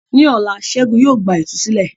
Ní ọ̀la, Ṣẹ́gun yóò gba ìtúsílẹ̀.